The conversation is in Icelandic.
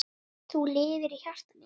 Þú lifir í hjarta mínu.